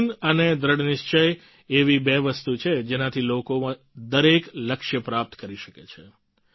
ઝનૂન અને દ્રઢનિશ્ચય એવી બે વસ્તુ છે જેનાથી લોકો દરેક લક્ષ્ય પ્રાપ્ત કરી શકે છે